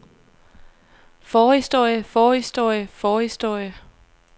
forhistorie forhistorie forhistorie